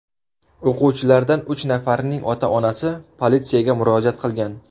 O‘quvchilardan uch nafarining ota-onasi politsiyaga murojaat qilgan.